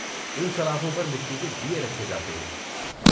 ان سلاخوں پر مٹی کے دیے رکھے جاتے ہیں۔